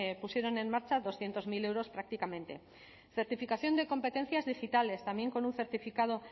pusieron en marcha doscientos mil euros prácticamente certificación de competencias digitales también con un certificado